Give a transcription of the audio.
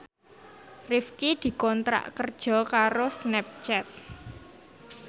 Rifqi dikontrak kerja karo Snapchat